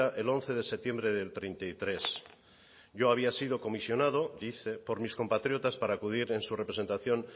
el once de septiembre del treinta y tres yo había sido comisionado dice por mis compatriotas para acudir en su representación